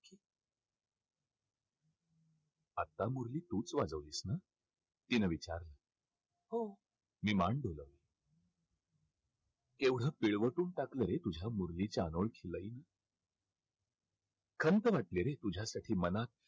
आत्ता मुरली तूच वाजवलीस ना? तिनं विचारलं, हो. मी मान डोलावलो. केवढं पिळवटून टाकलं रे तुझ्या मुरलीच्या अनोळखी खंत वाटली रे तुझ्यासाठी मनात